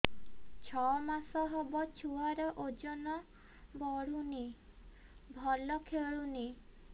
ଛଅ ମାସ ହବ ଛୁଆର ଓଜନ ବଢୁନି ଭଲ ଖେଳୁନି